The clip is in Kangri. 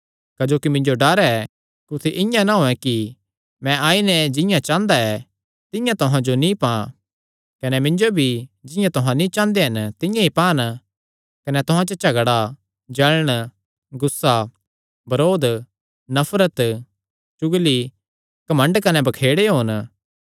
क्जोकि मिन्जो डर ऐ कुत्थी इआं ना होयैं कि मैं आई नैं जिंआं चांह़दा ऐ तिंआं तुहां जो नीं पां कने मिन्जो भी जिंआं तुहां नीं चांह़दे तिंआं ई पान कने तुहां च झगड़ा जल़ण गुस्सा बरोध नफरत चुगली घमंड कने बखेड़े होन